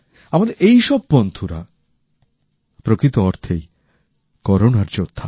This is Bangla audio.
আমাদের এই সব বন্ধুরা প্রকৃত অর্থেই করোনার যোদ্ধা